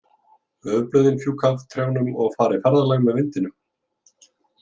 Laufblöðin fjúka af trjánum og fara í ferðalag með vindinum.